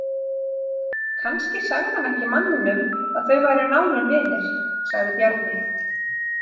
Kannski sagði hann ekki manninum að þau væru nánir vinir, sagði Bjarni.